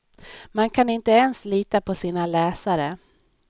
Man kan inte ens lita på sina läsare.